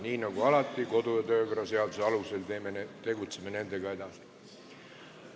Nii nagu alati, kodu- ja töökorra seaduse alusel tegutseme nendega edasi.